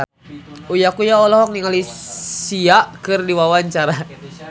Uya Kuya olohok ningali Sia keur diwawancara